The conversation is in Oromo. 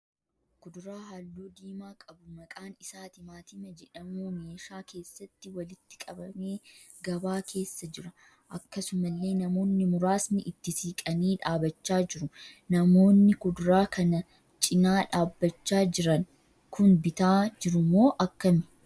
Kuduraa halluu diimaa qabu maqaan isaa timaantima jedhamuu meeshaa keessatti walitti qabamee gabaa keessa jira. Akkasumallee namoonni muraasni itti siqanii dhaabbachaa jiru. Namoonni kuduraa kana cina dhaabbachaa jiran kun bitaa jirumoo akkamii?